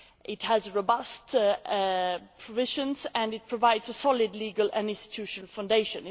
It has robust provisions and it provides a solid legal and institutional foundation.